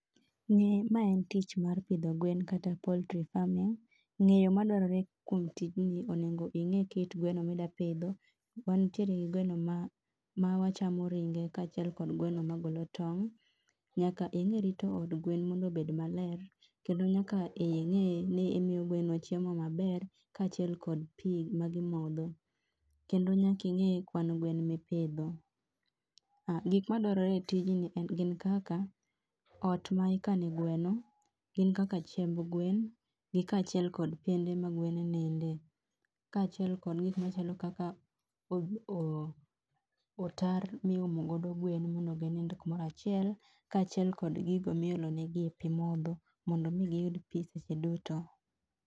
ma en tich mar pidho gwen kata poultry farming, ng'eyo madwarore kuom tijni onengo ing'e kit gweno midapidho, wantiere gi gweno ma ma wachamo ringe kaachiel kod gweno magolo tong', nyaka ing'e rito od gwen mondo obed maler kendo nyaka ing'e ni imiyo gweno chiemo maber kaachiel kod pii ma gimodho. Kendo nyaki ing'e kwan gwen mipidho. um gik madwarore e tijni en gin kaka, ot ma ikane gweo, gin kaka chiemb gwen, kaachiel kod piende ma gwen nindie, kaachiel kod gik machalo kaka, o otar miumo go gwen mondo ginind kumoro achiel, kaachiel kod gigo miolonegi e pii modho mondo mi kiyud pii seche duto